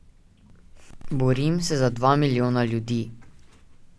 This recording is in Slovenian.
Borim se za dva milijona ljudi.